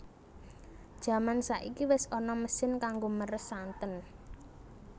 Jaman saiki wis ana mesin kanggo meres santen